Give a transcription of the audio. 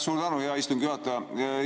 Suur tänu, hea istungi juhataja!